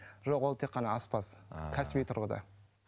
жоқ ол тек қана аспаз ааа кәсіби тұрғыда